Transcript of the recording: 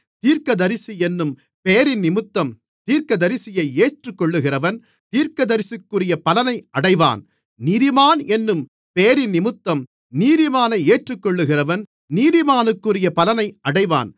தீர்க்கதரிசி என்னும் பெயரினிமித்தம் தீர்க்கதரிசியை ஏற்றுக்கொள்ளுகிறவன் தீர்க்கதரிசிக்குரிய பலனை அடைவான் நீதிமான் என்னும் பெயரினிமித்தம் நீதிமானை ஏற்றுக்கொள்ளுகிறவன் நீதிமானுக்குரிய பலனை அடைவான்